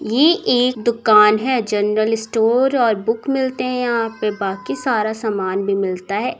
ये एक दुकान है जनरल स्टोर और बुक मिलते है पे बाकी सारा सामान भी मिलता हैं।